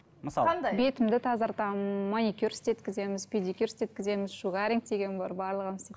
мысалы қандай бетімді тазартамын маникюр істеткіземіз педикюр істеткіземіз шугаринг деген бар барлығын